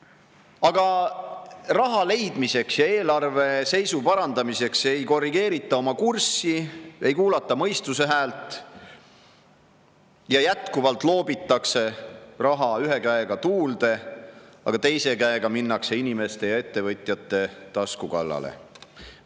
Aga raha leidmiseks ja eelarve seisu parandamiseks ei korrigeerita oma kurssi, ei kuulata mõistuse häält ja jätkuvalt loobitakse raha ühe käega tuulde, aga teise käega minnakse inimeste ja ettevõtjate tasku kallale.